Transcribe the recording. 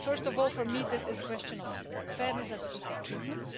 First of all, for me, this is a question of fairness and equal treatment.